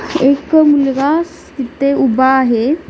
एक मुलगा तिथे उभा आहे.